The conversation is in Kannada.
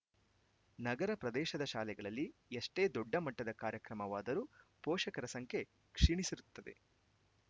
ನಗರ ಪ್ರದೇಶದ ಶಾಲೆಗಳಲ್ಲಿ ಎಷ್ಟೇ ದೊಡ್ಡ ಮಟ್ಟದ ಕಾರ್ಯಕ್ರಮವಾದರೂ ಪೋಷಕರ ಸಂಖ್ಯೆ ಕ್ಷೀಣಿಸಿರುತ್ತದೆ